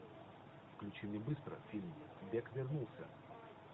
включи мне быстро фильм бек вернулся